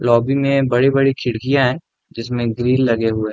Lobby में बड़ी-बड़ी खिड़कियां है जिसमें ग्रिल लगे हुए।